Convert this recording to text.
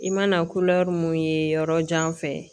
I mana mun ye yɔrɔ jan fɛ